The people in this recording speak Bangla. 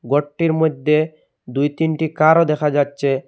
ঘরটির মইধ্যে দুই তিনটি কারও দেখা যাচ্চে।